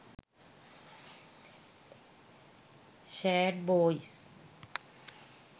sad boys